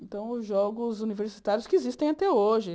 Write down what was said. Então, os jogos universitários que existem até hoje.